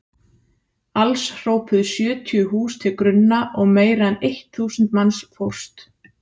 Alls hröpuðu sjötíu hús til grunna og meira en eitt þúsund manns fórst.